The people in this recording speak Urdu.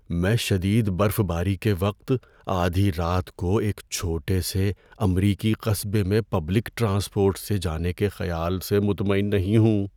میں شدید برف باری کے وقت آدھی رات کو ایک چھوٹے سے امریکی قصبے میں پبلک ٹرانسپورٹ سے جانے کے خیال سے مطمئن نہیں ہوں۔